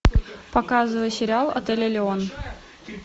показывай сериал отель элеон